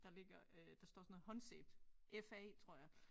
Der ligger øh der står sådan noget håndsæbe Fa tror jeg